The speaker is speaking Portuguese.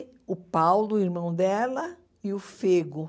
o Paulo, irmão dela, e o Fego.